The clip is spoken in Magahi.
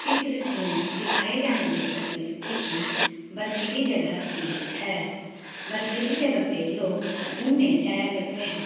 इस दृश्य में दिखाई जाने वाली तस्वीर किसी बर्फीली जगह की है बर्फीली जगह पे लोग घुमने जाया करते हैं।